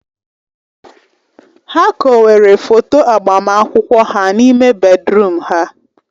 Ha kowere foto agbamakwụkwọ ha n'ime bèdrụm ha.